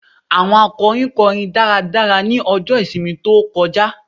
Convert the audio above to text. Àwọn akọrin kọrin dáradára ní ọjọ́ ìsinmi tó kọjá